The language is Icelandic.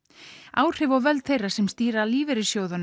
áhrif og völd þeirra sem stýra lífeyrissjóðunum